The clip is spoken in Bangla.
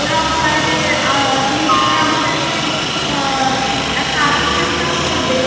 ওরাও চায় যে আহ যেহেতু আমাদের কে আহ একটা আতিথিয়তা করবে.